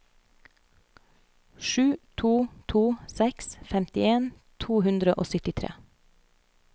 sju to to seks femtien to hundre og syttitre